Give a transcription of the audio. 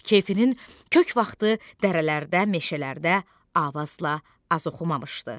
Keyfinin kök vaxtı dərələrdə, meşələrdə avazla az oxumamışdı.